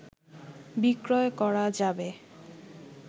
বিক্রয় করা যাবে